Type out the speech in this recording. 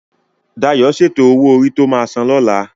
Dayo ti sétó ówó órí tó má sán lòlá